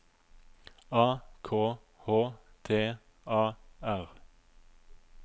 A K H T A R